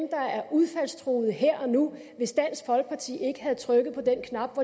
udfaldstruede her og nu hvis dansk folkeparti ikke havde trykket på den knap